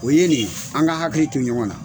O ye nin ye an ka hakili to ɲɔgɔn na.